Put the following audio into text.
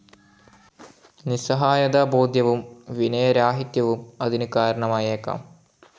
നിസ്സഹായതബോധവും വിനയരാഹിത്യവും അതിന് കാരണമായേക്കാം.